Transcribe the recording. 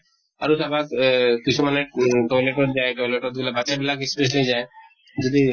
আৰু চাবা এহ কিছুমানে toilet ত যায় , toilet ত গʼলে, বাচ্ছা বিলাক specially যায় । যদি